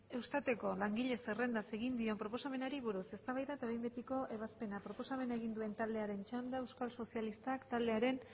eustateko langile zerrendaz egin dion proposamenari buruz eztabaida eta behin betiko ebazpena proposamen egin duen taldearen txanda euskal sozialistak taldearen